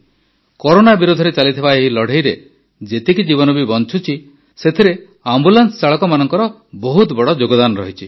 corona ବିରୋଧରେ ଚାଲିଥିବା ଏହି ଲଢ଼େଇରେ ଯେତିକି ଜୀବନ ବି ବଞ୍ଚୁଛି ସେଥିରେ ଆମ୍ବୁଲାନ୍ସ ଚାଳକମାନଙ୍କର ବହୁତ ବଡ଼ ଯୋଗଦାନ ରହିଛି